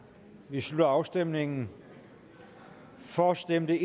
slutter afstemningen for stemte